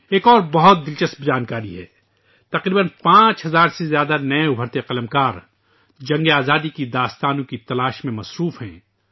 ایک اور بہت دلچسپ جانکاری ہے ، تقریبا 5000 سے زائد نئے ابھرتے ہوئے مصنفین جنگ آزادی کی کہانیاں تلاش کر رہے ہیں